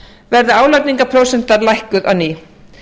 verði álagningarprósentan lækkuð á ný